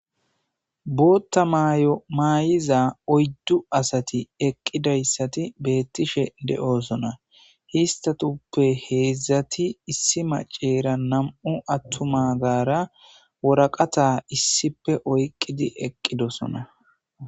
Bootta mayo maay'iza oyddu asati eqqidayssati beettishe de'osona histatuppe heedzdzati issi maceera nam'u attuma gaara woraqata issipe oyqqidi eqqidosona.